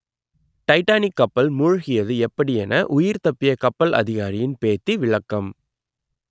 Titanic கப்பல் மூழ்கியது எப்படி என உயிர் தப்பிய கப்பல் அதிகாரியின் பேத்தி விளக்கம்